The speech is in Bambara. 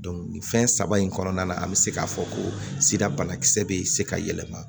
nin fɛn saba in kɔnɔna na an bɛ se k'a fɔ ko sira banakisɛ bɛ se ka yɛlɛma